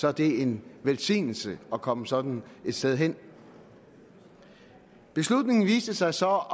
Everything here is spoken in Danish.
er det en velsignelse at komme sådan et sted hen beslutningen viste sig så